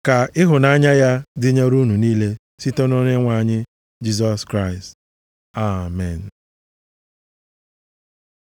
Ka ịhụnanya m dịnyere unu niile site nʼOnyenwe anyị Jisọs Kraịst. Amen.